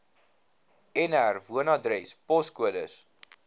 nr woonadres poskode